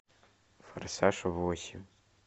форсаж восемь